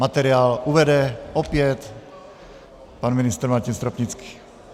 Materiál uvede opět pan ministr Martin Stropnický.